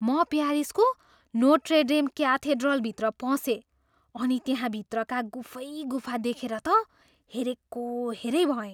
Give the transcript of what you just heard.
म प्यारिसको Notre Dame क्याथेड्रलभित्र पसेँ अनि त्यहाँ भित्रका गुफै गुफा देखेर त हेरेको हेऱ्यै भएँ।